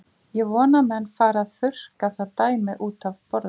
Ég vona að menn fari að þurrka það dæmi útaf borðinu.